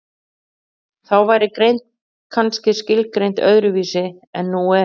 þá væri greind kannski skilgreind öðru vísi en nú er